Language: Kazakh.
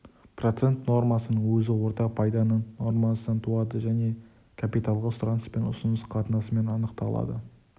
процент нормасының өзі орта пайданың нормасынан туады және капиталға сұраныс пен ұсыныс қатынасымен анықталады